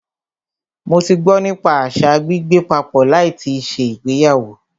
Mó tí gbọ́ nípa àṣa gbígbé papọ̀ láì tíì ṣe ìgbéyàwó.